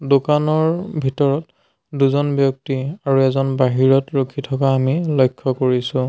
দোকানৰ ভিতৰত দুজন ব্যক্তি আৰু এজন বাহিৰত ৰখি থকা আমি লক্ষ্য কৰিছোঁ।